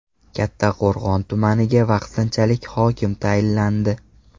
Kattaqo‘rg‘on tumaniga vaqtinchalik hokim tayinlandi.